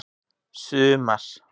sumar